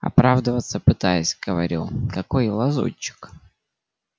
оправдаться пытаюсь говорю какой я лазутчик